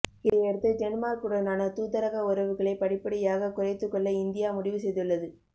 இதையடுத்து டென்மார்க்குடனான தூதரக உறவுகளை படிப்படியாகக் குறைத்துக் கொள்ள இந்தியா முடிவு செய்துள்ளது